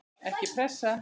Ekki pressa!